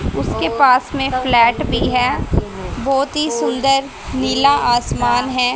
उसके पास में फ्लैट भी हैं बहोत ही सुंदर नीला आसमान है।